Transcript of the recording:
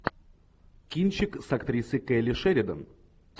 кинчик с актрисой келли шеридан